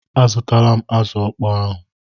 Azụtala m azụ ọkpọọ ahụ.